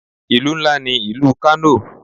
Ìlú ńlá ní ìlú Kano.